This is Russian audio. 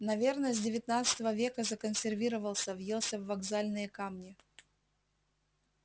наверное с девятнадцатого века законсервировался въелся в вокзальные камни